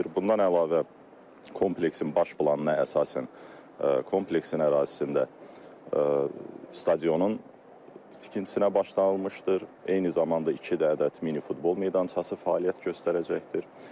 Bundan əlavə kompleksin baş planına əsasən kompleksin ərazisində stadionun tikintisinə başlanılmışdır, eyni zamanda iki ədəd mini futbol meydançası fəaliyyət göstərəcəkdir.